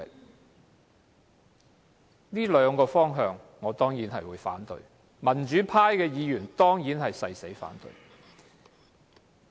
就這兩個方面，我當然會反對，民主派議員亦會誓死反對。